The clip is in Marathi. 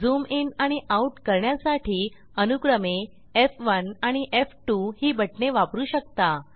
झूम इन आणि आउट करण्यासाठी अनुक्रमे एफ1 आणि एफ2 ही बटणे वापरू शकता